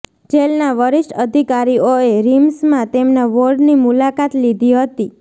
જેલના વરિષ્ઠ અધિકારીઓએ રિમ્સમાં તેમના વોર્ડની મુલાકાત લીધી હતી